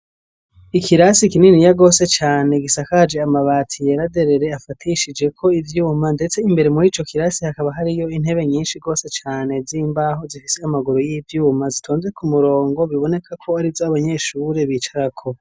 Ikirasi, kininiya gose cane, gisakaje amabati, yera derere, afatishijeko ivyuma; ndetse imbere, muri ico kirasi, hakaba, hariyo intebe, nyinshi gose cane, z'imbaho, zifise amaguru y'ivyuma, zitonze ku murongo, biboneka ko, ari zo abanyeshure, bicarako.